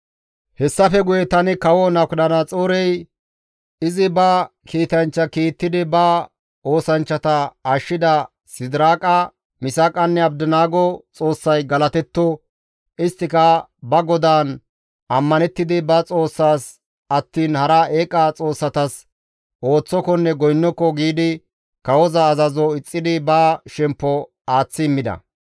Hessafe guye tani kawo Nabukadanaxoorey, «Izi ba kiitanchcha kiittidi ba oosanchchata ashshida Sidiraaqa, Misaaqanne Abdinaago Xoossay galatetto! Isttika ba Godaan ammanettidi ba Xoossas attiin hara eeqa xoossatas ooththokonne goynnoko giidi kawoza azazo ixxidi ba shemppo aaththi immida.